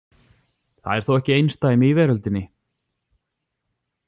Það er þó ekki einsdæmi í veröldinni.